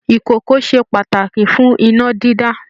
Ìkòkò ṣe pàtàkì fún iná dídá